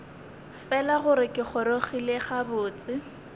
fela gore ke gorogile gabotse